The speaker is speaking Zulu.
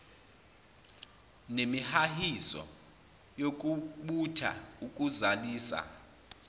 nemihahiso yokubutha ukuzalisa